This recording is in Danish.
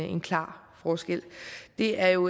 en klar forskel det er jo